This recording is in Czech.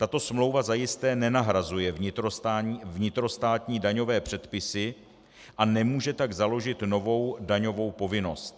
Tato smlouva zajisté nenahrazuje vnitrostátní daňové předpisy a nemůže tak založit novou daňovou povinnost.